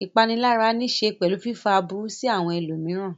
Ìpanilára níṣe pẹ̀lú fífá aburú sí àwọn ẹlòmíràn.